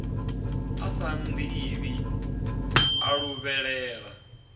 a sa nnḓivhi a luvhelela